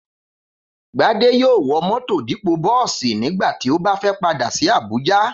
Gbadé yóò wọ mọ́tọ̀ dípò bọ́ọ̀sì nígbà tí ó bá fẹ́ padà sí Abuja